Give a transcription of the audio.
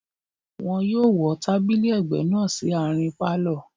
Wọ́n yóò wọ́ tábìlì ẹ̀gbẹ́ náà sí àárín pálọ̀